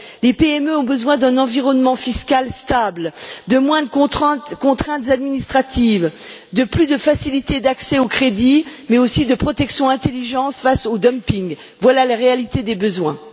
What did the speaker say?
Les PME ont besoin d'un environnement fiscal stable, de moins de contraintes administratives, de plus de facilités d'accès au crédit, mais aussi de protections intelligentes face au dumping. Voilà la réalité des besoins.